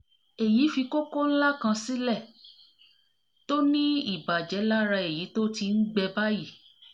èyí fi kókó ńlá kan sílẹ̀ tó ní ìbàjẹ́ lára èyí tó ti ń gbẹ ń gbẹ báyìí